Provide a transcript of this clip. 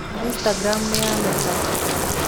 Instagram nĩ ya Meta.